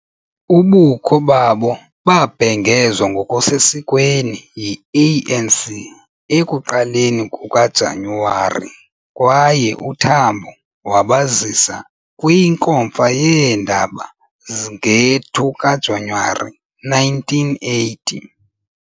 Ubukho babo babhengezwa ngokusesikweni yi-ANC ekuqaleni kukaJanuwari kwaye uTambo wabazisa kwinkomfa yeendaba nge-2 kaJanuwari 1980.